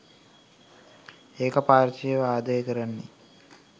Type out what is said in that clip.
ඒක පාර්ශවීයව ආදරේ කරන්නෙ?